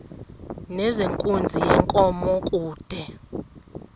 nezenkunzi yenkomo kude